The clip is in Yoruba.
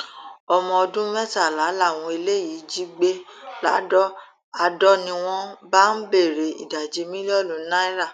ọmọ ọdún mẹtàlá làwọn eléyìí jí gbé ladọ adọ ni wọn bá ń béèrè ìdajì mílíọnù náírà